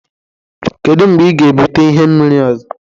Kedu mgbe ị ga-ebute ihe mmiri ọzọ